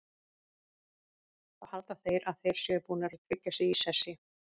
Þá halda þeir að þeir séu búnir að tryggja sig í sessi.